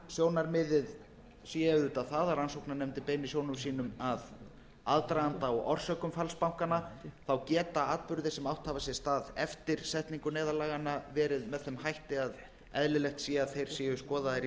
meginsjónarmiðið sé auðvitað það að rannsóknarnefndin beini sjónum sínum að aðdraganda og orsökum falls bankanna þá geta atburðir sem átt hafa sér stað eftir setningu neyðarlaganna verið með þeim hætti að eðlilegt sé að þeir séu skoðaðir í